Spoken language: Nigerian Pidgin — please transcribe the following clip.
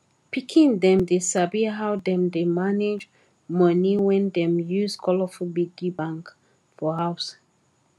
pikin dem dey sabi how dem dey manage money when dem use colourful piggy bank for house